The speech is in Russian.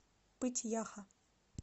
пыть яха